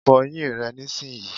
Fo eyín rè nísìnyí